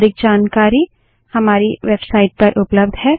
अधिक जानकारी हमारी वेबसाइट पर उपलब्ध है